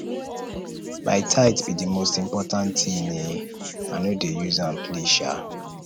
my tithe be the most important thing um i no dey use am play um